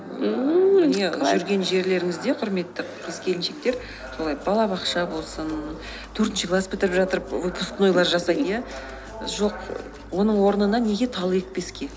ммм міне жүрген жерлеріңізде құрметті қыз келіншектер солай балабақша болсын төртінші класс бітіріп жатыр выпускнойлар жасайды иә жоқ оның орнына неге тал екпеске